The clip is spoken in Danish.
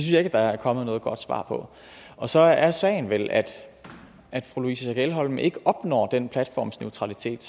jeg ikke der er kommet noget godt svar på og så er sagen vel at at fru louise schack elholm ikke opnår den platformsneautralitet